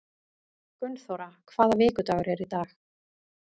Gunnþóra, hvaða vikudagur er í dag?